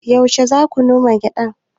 Yaushe za ku koma gidan?